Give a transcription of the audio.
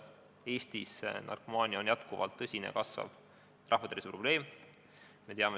Eestis on narkomaania kahtlemata jätkuvalt tõsine ja kasvav rahvatervise probleem.